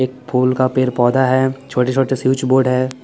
एक फुल का पेड़ पोधा है छोटे छोटे स्विच बोर्ड है।